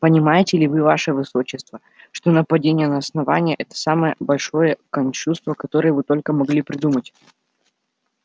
понимаете ли вы ваше высочество что нападение на основание это самое большое кощунство которое вы только могли придумать